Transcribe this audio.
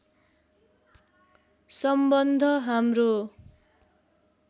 सम्बन्ध हाम्रो